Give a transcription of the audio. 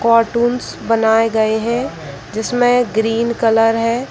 cartoons बनाये गए हैं जिसमे ग्रीन कलर है |